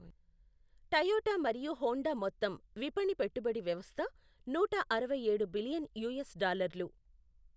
Toyota మరియు Honda మొత్తం విపణి పెట్టుబడి వ్యవస్థ నూట అరవై ఏడు బిలియన్ యూఎస్ డాలర్లు.